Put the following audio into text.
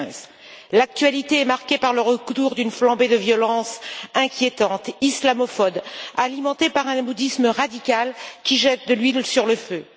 2015. L'actualité est marquée par une nouvelle flambée de violence inquiétante, islamophobe et alimentée par un bouddhisme radical qui jette de l'huile sur le feu.